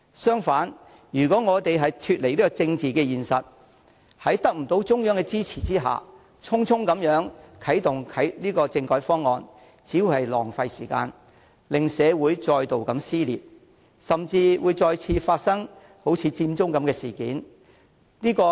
相反，如果我們脫離政治現實，在得不到中央的支持下，匆匆啟動政改方案，只會浪費時間，令社會再度撕裂，甚至再次發生佔中事件。